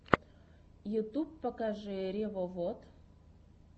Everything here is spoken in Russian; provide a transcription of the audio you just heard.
ютьюб покажи ревовод